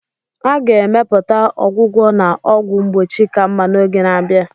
A ga-emepụta ọgwụgwọ na ọgwụ mgbochi ka mma n'oge na-abịa.